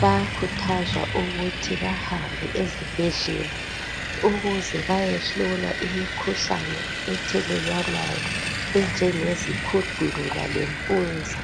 bayakhuthazwa ukuthi bahambe ezibhedlela ukuze bayehlolwa imikhuhlane ethelelwanayo enjengzikhundula le mpuza